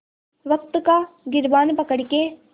वक़्त का गिरबान पकड़ के